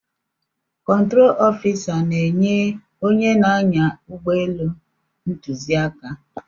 Kọntrol ofisa na-enye onye na-anya ụgbọelu ntụziaka.